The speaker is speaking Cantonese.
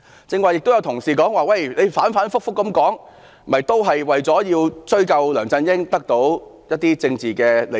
剛才也有同事說我們反覆提這事，只是為了追殺梁振英，從而得到一些政治利益。